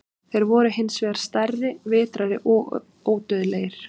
Þeir voru hins vegar stærri, vitrari og ódauðlegir.